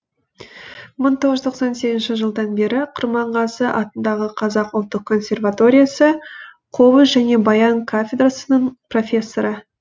мың тоғыз жүз тоқсан сегізінші жылдан бері құрманғазы атындағы қазақ ұлттық консерваториясы қобыз және баян кафедрасының профессоры